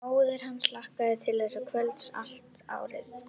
Móðir hans hlakkaði til þessa kvölds allt árið.